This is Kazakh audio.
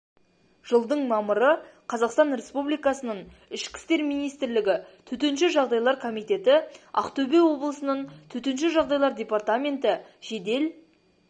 жылдың мамыры қазақстан республикасының ішкі істер министрлігі төтенше жағдайлар комитеті ақтөбе облысының төтенше жағдайлар департаменті жедел